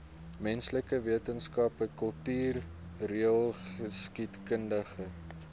menslike wetenskappe kultureelgeskiedkundige